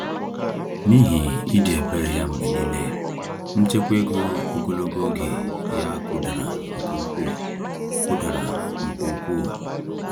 N’ihi ịdị ebere ya mgbe niile, nchekwa ego ogologo oge ya kụdara nke ukwuu. kụdara nke ukwuu.